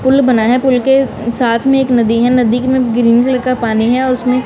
pool बना हैं पुल के साथ में एक नदी है नदी में ग्रीन कलर का पानी हैं उसमें--